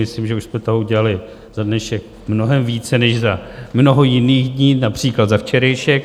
Myslím, že už jsme toho udělali za dnešek mnohem více než za mnoho jiných dní, například za včerejšek.